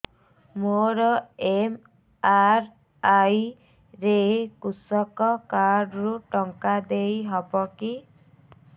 ମୋର ଏମ.ଆର.ଆଇ ରେ କୃଷକ କାର୍ଡ ରୁ ଟଙ୍କା ଦେଇ ହବ କି